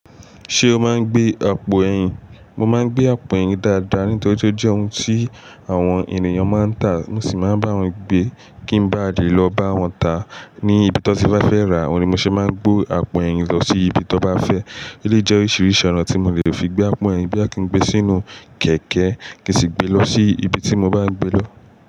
Ṣé o máa ń gbé àpò ẹ̀yìn? Mo máa ń gbé àpò ẹ̀yìn dáadáa, nítorí pé ó jẹ́ ohun tí àwọn ènìyàn máa ń tà, mo sì máa ń bá wọn gbé kí n ba lè lọ bá wọn tà ní ibi tí wọ́n bá fẹ́ rà á. Òhun ni mo ṣe máa ń gbé àpò ẹ̀yìn lọ sí ibi tó bá fẹ́. Eleyi jẹ́ oríṣiríṣi ọ̀nà tí mo le fi gbé àpò ẹ̀yìn. Boya kí ń gbe sínú kẹ̀kẹ́ kí sì gbe lọ sí ibi tí mo bá n gbé lọ.